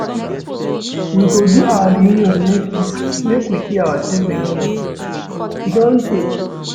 We go do our reunion next week make we see ourselves again, e do tey.